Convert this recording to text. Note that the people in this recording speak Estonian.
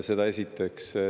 Seda esiteks.